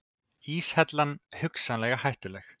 Íshellan hugsanlega hættuleg